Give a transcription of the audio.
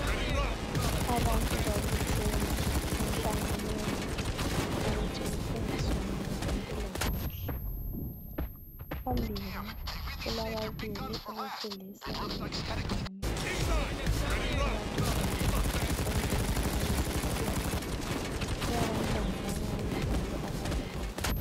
Abantu babuthene emhlanganweni ukuthi kufundiswane ngezempilakahle phambili kulababili owesilisa lowesifazana abagidayo ukuze bajabulise abantu kulabantwana abancane njalo ababukeleyo.